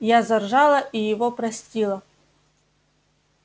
я заржала и его простила